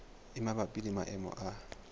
e mabapi le maemo a